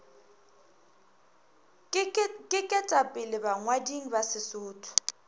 ke ketapele bangwading ba sesotho